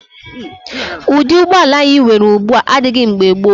Ụdị ụgbọala anyị nwere ugbu a adịghị mgbe gboo.